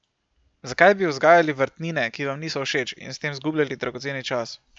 Zakaj bi vzgajali vrtnine, ki vam niso všeč, in s tem zgubljali dragoceni čas?